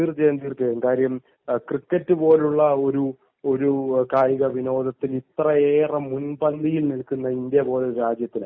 തീർച്ചയായും തീർച്ചയായും കാര്യം ക്രിക്കറ്റ് പോലുള്ള കായിക വിനോദത്തിനു ഇത്രയേറെ മുൻപന്തിയിൽ നിൽക്കുന്ന